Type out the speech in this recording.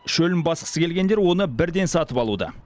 шөлін басқысы келгендер оны бірден сатып алуда